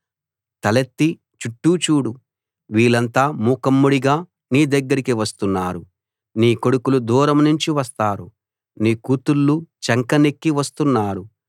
తలెత్తి చుట్టూ చూడు వీళ్ళంతా మూకుమ్మడిగా నీ దగ్గరికి వస్తున్నారు నీ కొడుకులు దూరంనుంచి వస్తారు నీ కూతుళ్ళు చంకనెక్కి వస్తున్నారు